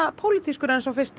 pólitískur en sá fyrsti þeir